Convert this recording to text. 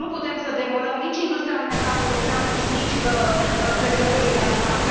Nu putem să demolăm nici industria alimentară europeană și nici crescătorii de animale.